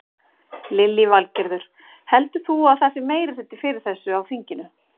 Lillý Valgerður: Heldur þú að það sé meirihluti fyrir þessu á þinginu?